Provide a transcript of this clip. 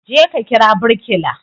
Je ka kira birkila